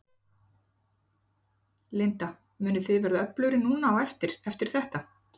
Linda: Munið þið verða öflugri núna á eftir, eftir þetta?